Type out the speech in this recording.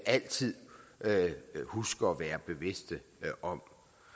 altid huske at være bevidste om